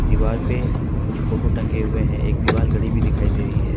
दीवार पे कुछ फोटो टंगे हुए है एक दिवाल घड़ी भी दिखाई दे रही है।